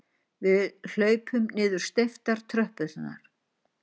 Við hlaupum niður steyptar tröppurnar.